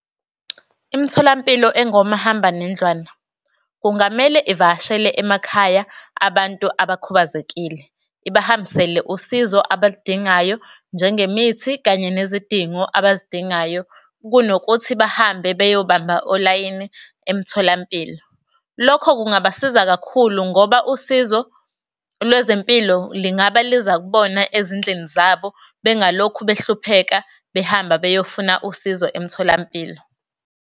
Imtholampilo engomahambanendlwana kungamele ivakashele emakhaya abantu abakhubazekile, ibahambisela usizo abaludingayo njengemithi kanye nezidingo abazidingayo, kunokuthi bahambe beyobamba olayini emtholampilo. Lokho kungabasiza kakhulu ngoba usizo lwezempilo lingaba liza kubona ezindlini zabo bengalokhu behlupheka, behamba beyofuna usizo emtholampilo.